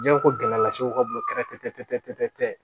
Diɲɛ ko gɛlɛya las'u ka bolo kɛrɛfɛ tɛ